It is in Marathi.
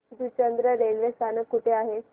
जुचंद्र रेल्वे स्थानक कुठे आहे